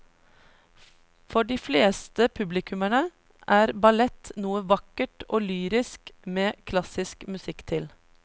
For de fleste publikummere er ballett noe vakkert og lyrisk med klassisk musikk til.